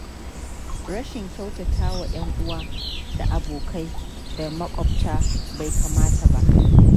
Rashin kyautata wa 'yanuwa da abokai da maƙwabta bai kamata ba.